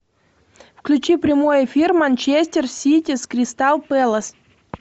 включи прямой эфир манчестер сити с кристал пэлас